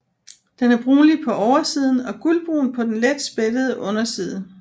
Den er brunlig på oversiden og gulbrun på den let spættede underside